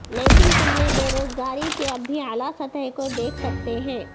لیکن تم نے بے روزگاری کے اب بھی اعلی سطح کے دیکھ سکتے ہیں